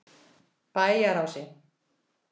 Bæjarási